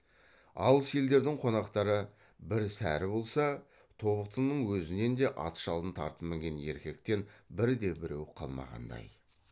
алыс елдердің қонақтары бір сәрі болса тобықтының өзінен де ат жалын тартып мінген еркектен бірде біреу қалмағандай